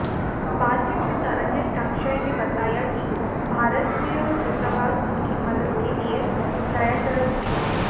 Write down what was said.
बातचीत में तरणजीत ङ्क्षसह ने बताया कि भारतीय दूतावास उनकी मदद के लिए प्रयासरत है